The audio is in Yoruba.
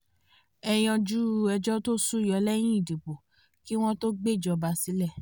ẹ yanjú ẹjọ́ tó sú yọ lẹ́yìn ìdìbò kí wọ́n tó gbéjọba sílẹ̀